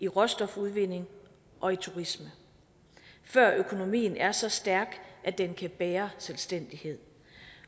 råstofudvinding og af turisme før økonomien er så stærk at den kan bære selvstændighed